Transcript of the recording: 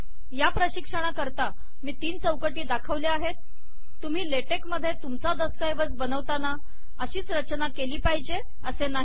या प्रशिक्षणा करता मी तीन चौकटी दाखवल्या आहेत तुम्ही ले टेक मधे तुमचा दस्तऐवज बनवताना अशीच रचना केली पाहिजे असे नाही